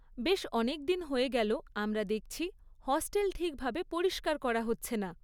বেশ অনেকদিন হয়ে গেল আমরা দেখছি হস্টেল ঠিকভাবে পরিষ্কার করা হচ্ছে না।